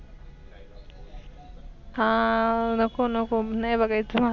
हा नको नको नाही बगायेच मला.